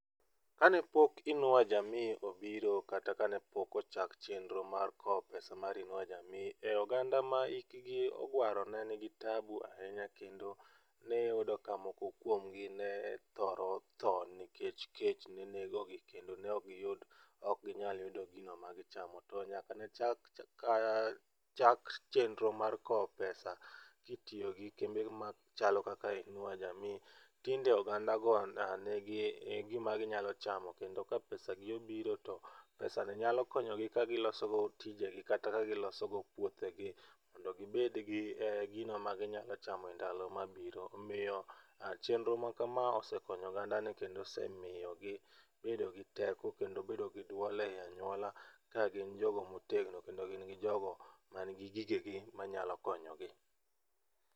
Kane pok Inua Jamii obiro, kata kane pok ocha chenro mar kowo pesa mar Inua Jamii e oganda ma hikgi oguaro ne nigi taabu ahinya kendo ne iyudo ka moko kuom gi ne thoro tho nikech kech ne negogi kendo ne ok giyud ok ginyal yudo gino magichamo to nyaka ne chak chak chenro mar kowo pesa kitiyo gi kembe machalo kaka Inua Jamii tinde ogandago oa negi gima ginyalo chamo kendo ka pesa gi obiro to pesani nyalo konyogi kagilosogo tijegi kata ka giloso go puothegi mondo gibed gi gino maginyalo chamo e ndalo mabiro. Omiyo chenro makama osekonyo oganda kendo miyogi bedo gi teko kendo bedo gi duol ei anyuola ka gin jogo motegno kendo gin jogo man gi gegi manyalo konyogi.